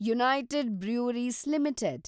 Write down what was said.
United Breweries limited